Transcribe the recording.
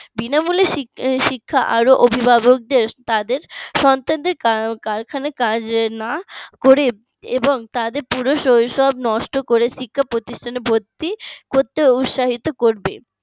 বিনামূল্যের শিক্ষা আরো অভিভাবকদের তাদের সন্তানদের কারখানায় কাজ না করে এবং তাদের পুরো শৈশব নষ্ট করে প্রতিষ্ঠানে ভর্তি করতে উৎসাহিত করবে